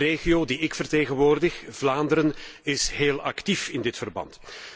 De regio die ik vertegenwoordig, Vlaanderen, is heel actief in dit verband.